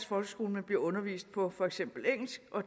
folkeskole men bliver undervist på for eksempel engelsk og